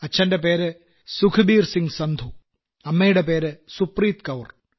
അച്ഛന്റെ പേര് സുപ്രീത് കൌർ